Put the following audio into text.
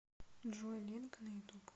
джой ленка на ютуб